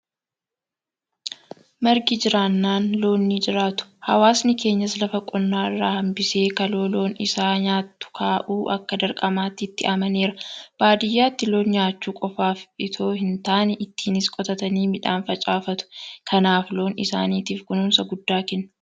Margi jiraannan Loon nijiraatu. Hawaasni keenyas lafa qonnaa irraa hanbisee kaloo Loon isaa nyaattu kaa'uu akka dirqamaatti itti amaneera. Baadiyyaatti loon nyaachuu qofaaf itoo hintaane ittiinis qotatanii midhaan facaafatu. Kanaaf Loon isaaniitiif kunuunsa guddaa kennu.